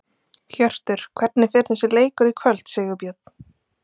Hjörtur: Hvernig fer þessi leikur í kvöld, Sigurbjörn?